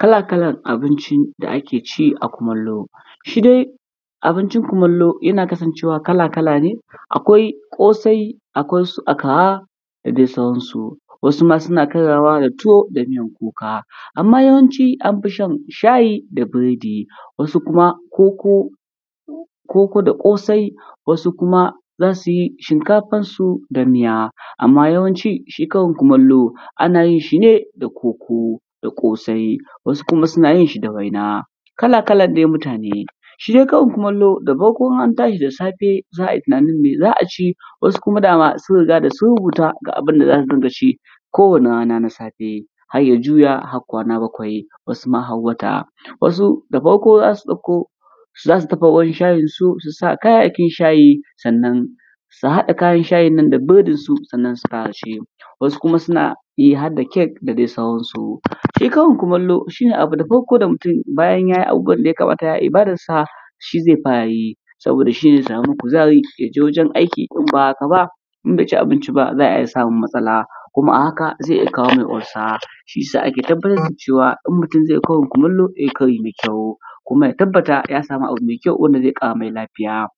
Kala-kalan abinci da ake ci a kumallo, shi dai abincin kulammlo yana kasancewa kala=kala ne, akwai ƙosai, akwai su akkara dea dai sauransu. Wasu ma suna karyawa da tuwo da miyan kuka, amma yawanci an fi shan shayi da biredi, wasu kuma koko, koko da ƙosai, wasu kuma za su yi shinkafansu da miya amma yawanci shi karin kulammlo ana yin shi ne da koko da ƙosai, wasu kuma suna yin shi da waina, kala-kalan dai mutane. Shi dai karin kumallo da in an tashi da safe za a yi tunanin mai za a ci, wasu kuma dama sun rigaya sun rubuta ga abin da za su dinga ci kowane na safe, har ya juwa na kwana bakawi. Wasu da farko za su ɗauko za su dafa ruwan shayinsu, su sa kayayykin shayi sannan, su haɗa kayan shayin nan da biredi sannan su fara ci. wasukuma suna yi har da cake da dai sauransu. Shi karin kumallo shi ne abu na farko da mutum, bayan ya yi abubuwan da yakamata a ibadansa shi zai fara yi, saboda shi ne zai sami kuzari ya je wurin aiki in ba haka ba, in bai ci abinci ba za a iya samun matsala kuma zai iya samun uucer. Shi ya sa ake tabbatar cewa idan mutun zai yi karin kumallo, ya yi kari mai kayu kuma ya tabba ya samu abu mai kayu da zai ƙara mai lafiya.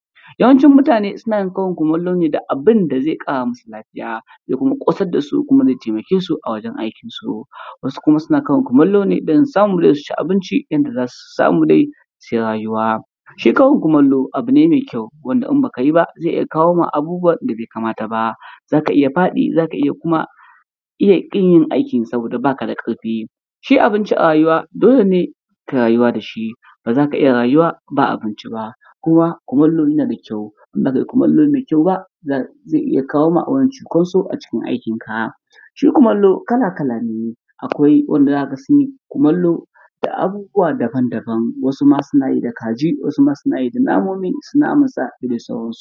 Yawancin mutane suna yin karin kumallo ne da abin da zai ƙara ma su lafiya, ya kuma ƙosad da su kuma zai tamake su, wasu kuma suna karin kumallo ne don su samu su ci abinci yanda za su samu dai sui rayuwa. Shi karin kumallo abu ne mai, wanda idan ba ka yi ba zai iya kawo maka abubuwan da bai kamata ba, za ka iya faɗi, za ka iya kuma iya kin yin aikin saboda ba ka da ƙarfi Shi abici a rayuwa, dole rayuwa da shi, ba za ka iya rayuwa ba abinci ba. kumallo yana da kyau in ba kai kumallo mai kyau ba, zai iya kawo ma cinkoso a cikin aikinka. Shi kumallo kala-kala ne, akwai wanda za ka ga sin yi kumallo da abubuwa daban-daban, wasu ma suna yi da kaji, wasu suna yi da namomi naman sa da dai sauran su.